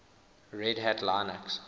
red hat linux